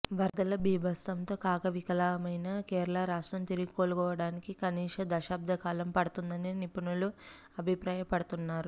వరదల బీభత్సంతో కకావికలమైన కేరళ రాష్ట్రం తిరిగి కోలుకోవడానికి కనీసం దశాబ్ద కాలం పడుతుందని నిపుణులు అభిప్రాయపడుతున్నారు